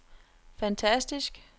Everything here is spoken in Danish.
fantastisk